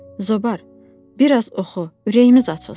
Zobar, bir az oxu, ürəyimiz açılsın.